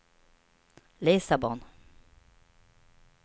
Lissabon